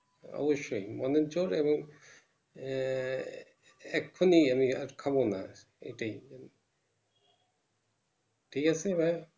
অবশ্যই মেনে চল এবং আহ এখনই আমি খাবো না এটাই ঠিক আছে ভাই